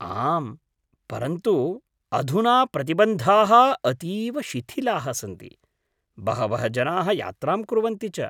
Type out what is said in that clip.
आम्, परन्तु अधुना प्रतिबन्धाः अतीव शिथिलाः सन्ति, बहवः जनाः यात्रां कुर्वन्ति च।